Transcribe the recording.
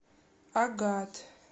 агат